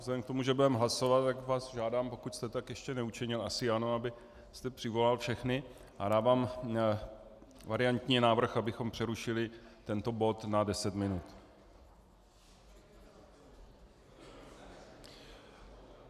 Vzhledem k tomu, že budeme hlasovat, tak vás žádám, pokud jste tak ještě neučinil, asi ano, abyste přivolal všechny, a dávám variantní návrh, abychom přerušili tento bod na deset minut.